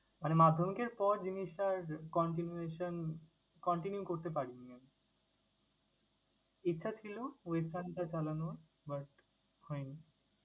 মানে মাধ্যমিকের পর জিনিসটা আর continuation, continue করতে পারিনি আমি। ইচ্ছা ছিল western টা চালানোর হয়নি।